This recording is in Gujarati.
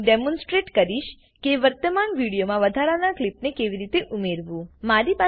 હવે હું ડેમોનસ્ટ્રેટ કરીશ કે વર્તમાન વિડીયોમાં વધારાનાં ક્લીપને કેવી રીતે ઉમેરવું